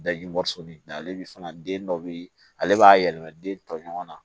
ale bi fana den dɔ bi ale b'a yɛlɛma den tɔɲɔgɔnw na